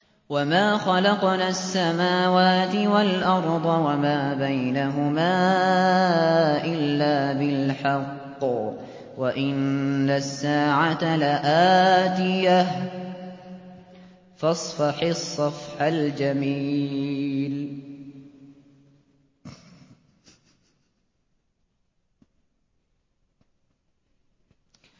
وَمَا خَلَقْنَا السَّمَاوَاتِ وَالْأَرْضَ وَمَا بَيْنَهُمَا إِلَّا بِالْحَقِّ ۗ وَإِنَّ السَّاعَةَ لَآتِيَةٌ ۖ فَاصْفَحِ الصَّفْحَ الْجَمِيلَ